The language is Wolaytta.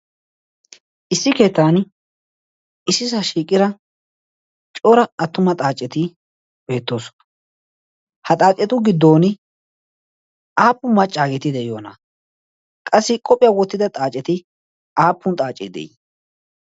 issi keettan issi sa shiiqira cora attuma xaaceti beettoosona. ha xaacetu giddon aappun maccaageeti de'iyoana qassi qophiyaa wottida xaaceti aappun xaacee de'ii?